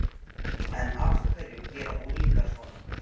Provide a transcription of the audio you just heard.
En af hverju gera unglingar svona?